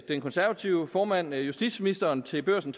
den konservative formand justitsministeren til børsen